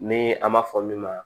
Ni an b'a fɔ min ma